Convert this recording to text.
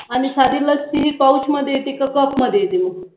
आणि साधी लस्सी ही पौचमध्ये येते की कपमध्ये येते.